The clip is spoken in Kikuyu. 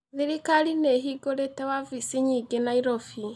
Thirikari nĩ ĩhingũrĩte wabici nyingĩ Nairobi.